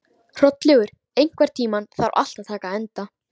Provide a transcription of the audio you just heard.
Hrollaugur, einhvern tímann þarf allt að taka enda.